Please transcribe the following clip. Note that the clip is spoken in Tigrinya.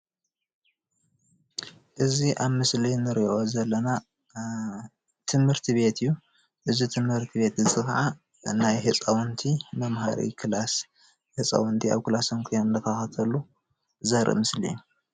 እዚ ኣብ ምስሊ ንሪኦ ዘለና ትምህርቲ ቤት እዩ። እዚ ትምርቲ ቤት እዚ ካዓ ናይ ህፃዉንቲ መምሃሪ ክላስ ህፃዉንቲ ኣብ ክላሶም ኮይኖም እናተኸታተሉ ዘርኢ ምስሊ እዩ።